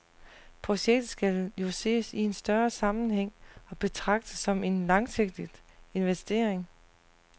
Projektet skal jo ses i en større sammenhæng og betragtes som en langsigtet investering.